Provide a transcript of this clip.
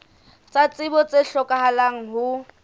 tsa tsebo tse hlokahalang ho